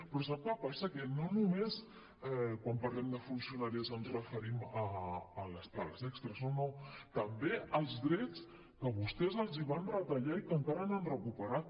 però sap què passa que no només quan parlem de funcionaris ens referim a les pagues extres no no també als drets que vostès els van retallar i que encara no han recuperat